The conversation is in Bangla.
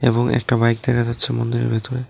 এবং একটা বাইক দেখা যাচ্ছে মন্দিরের ভেতরে।